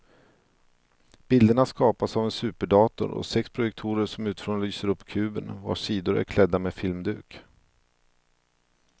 Bilderna skapas av en superdator och sex projektorer som utifrån lyser upp kuben vars sidor är klädda med filmduk.